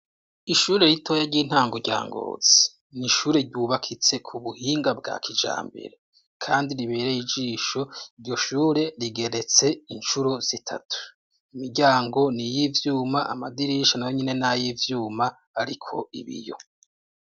Ishure ritoya ry'intango rya Ngozi, ni ishure ryubakitse ku buhinga bwa kijambere, kandi ribereye ijisho. Iryo shure rigeretse incuro zitatu; imiryango ni iy'ivyuma amadirisha nayo nyene nay'ivyuma ariko ibiyo.